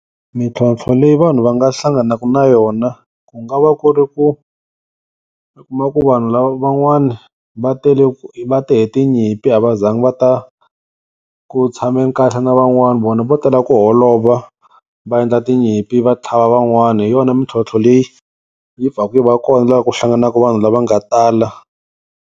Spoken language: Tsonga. Mintlhontlho leyi vanhu va nga hlanganaka na yona, ku nga va ku ri ku u kuma ku vanhu lavan'wana va tele, va te hi tinyimpi a va zanga va ta ku tshameni kahle na van'wani vona vo tela ku holova va endla tinyimpi va tlhava van'wana. Hi yona mintlhontlho leyi yi pfaka yi va kona la ku hlanganaka vanhu lava nga tala.